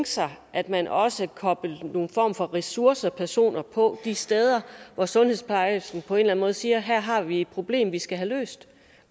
sig at man også koblede nogle ressourcepersoner på de steder hvor sundhedsplejersken på en eller anden måde siger her har vi et problem vi skal have løst